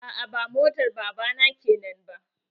A'a ba motar baba na kenan ba.